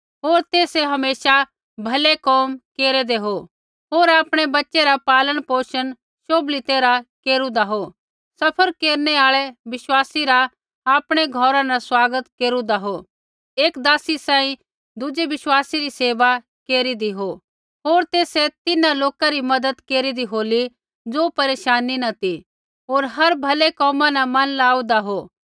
होर तेसै हमेशा भलै कोमा केरेदै हो होर आपणै बच़ै रा पालन पोषण शोभली तैरहा केरूदा हो सफ़र केरनै आल़ै विश्वासी रा आपणै घौरा न स्वागत केरुदा हो एक दासी सांही दुज़ै विश्वासी री सेवा केरीदी हो होर तेसै तिन्हां लोका री मज़त केरीदी होली ज़ो परेशानी न ती होर हर एक भलै कोमा न मन लाऊदा हो